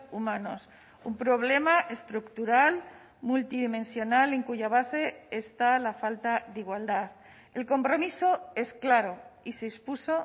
humanos un problema estructural multidimensional en cuya base está la falta de igualdad el compromiso es claro y se expuso